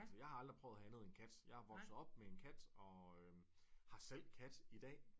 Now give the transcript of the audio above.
Jeg har aldrig at have andet end kat jeg er vokset op med en kat og har selv kat i dag